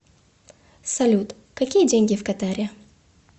салют какие деньги в катаре